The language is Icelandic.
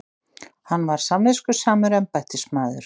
Hann var samviskusamur embættismaður.